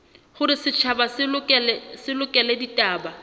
hore setjhaba se lekole ditaba